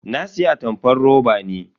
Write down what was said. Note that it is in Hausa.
Na siya atamfar roba ne.